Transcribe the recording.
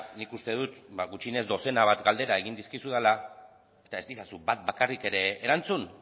nik uste dut ba gutxienez dozena bat galdera egin dizkizudala eta ez didazu bat bakarrik ere erantzun